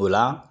O la